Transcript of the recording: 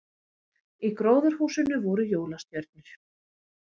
Í gróðurhúsinu voru jólastjörnur